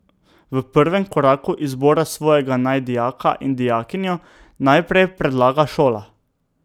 V prvem koraku izbora svojega naj dijaka in dijakinjo najprej predlaga šola.